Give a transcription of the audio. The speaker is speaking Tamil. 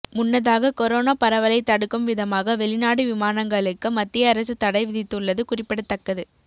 முன்னதாக கொரோனா பரவலை தடுக்கும் விதமாக வெளிநாடு விமானங்களுக்கு மத்திய அரசு தடை விதித்துள்ளது குறிப்பிடத்தக்கது